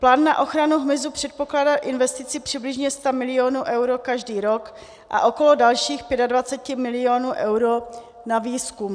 Plán na ochranu hmyzu předpokládá investici přibližně 100 milionů eur každý rok a okolo dalších 25 milionů eur na výzkum.